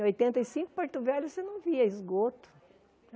Em oitenta e cinco, Porto Velho, você não via esgoto.